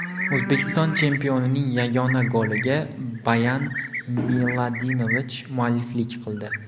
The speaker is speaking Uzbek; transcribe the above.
O‘zbekiston chempionining yagona goliga Boyan Miladinovich mualliflik qildi.